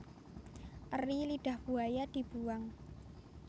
Eri lidah buaya dibuwang